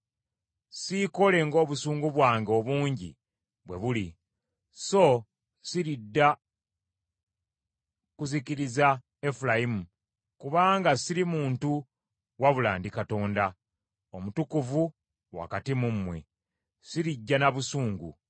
Siikole ng’obusungu bwange obungi bwe buli, so siridda kuzikiriza Efulayimu; kubanga siri muntu wabula ndi Katonda, Omutukuvu wakati mu mmwe: sirijja na busungu.